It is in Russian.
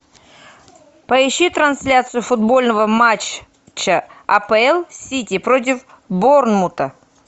поищи трансляцию футбольного матча апл сити против борнмута